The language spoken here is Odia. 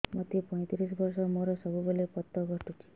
ମୋତେ ପଇଂତିରିଶ ବର୍ଷ ମୋର ସବୁ ସମୟରେ ପତ ଘଟୁଛି